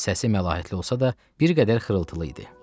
Səsi məlahətli olsa da, bir qədər xırıltılı idi.